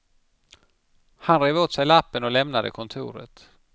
Han rev åt sig lappen och lämnade kontoret.